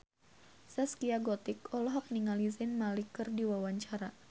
Zaskia Gotik olohok ningali Zayn Malik keur diwawancara